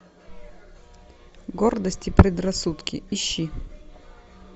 гордость и предрассудки ищи